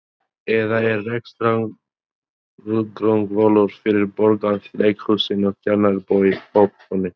Eða er rekstrargrundvöllur fyrir Borgarleikhúsinu, Tjarnarbíói, Hörpunni?